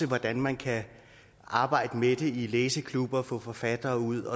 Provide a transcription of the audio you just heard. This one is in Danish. hvordan man kan arbejde med det i læseklubber få forfattere ud